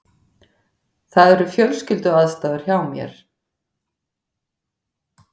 Það eru fjölskylduaðstæður hjá mér.